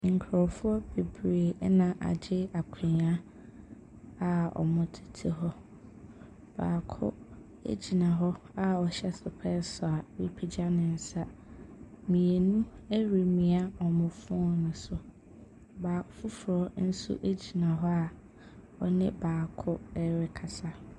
Nkurɔfoɔ bebree na agye akonnwa a wɔtete hɔ. Baako gyina hɔ a ɔhyɛ sopɛɛse a wapagya ne nsa. Mmienu remia wɔn phone so. Baak foforɔ nso gyina hɔ a ɔne baako rekasa.